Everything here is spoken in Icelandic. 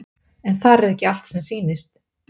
En þar er ekki allt sem sýnist.